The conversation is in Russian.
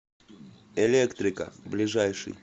электрика ближайший